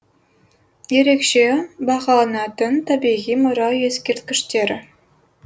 ерекше бағаланатын табиғи мұра ескерткіштері